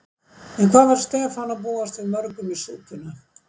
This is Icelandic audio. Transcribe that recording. En hvað var Stefán að búast við mörgum í súpuna?